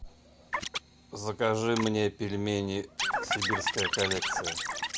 закажи мне пельмени сибирская коллекция